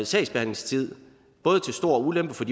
sagsbehandlingstid til stor ulempe for